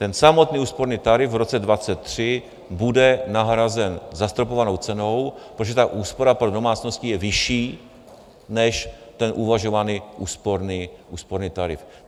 Ten samotný úsporný tarif v roce 2023 bude nahrazen zastropovanou cenou, protože ta úspora pro domácnosti je vyšší než ten uvažovaný úsporný tarif.